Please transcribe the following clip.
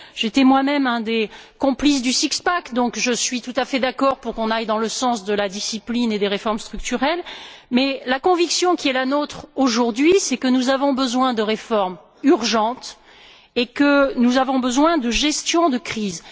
J'ai été moi même un des complices du six pack donc je suis tout à fait d'accord pour qu'on aille dans le sens de la discipline et des réformes structurelles, mais la conviction qui est la nôtre aujourd'hui, c'est que nous avons besoin de réformes urgentes et que nous avons besoin de gestion de crise.